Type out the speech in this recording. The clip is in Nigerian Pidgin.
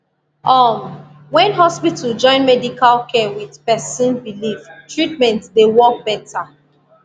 uhm when hospital join medical care with person believe treatment dey work better